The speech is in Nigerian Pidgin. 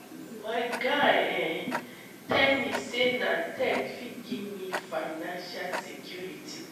my guy um tell me sey na tech fit give me financial security.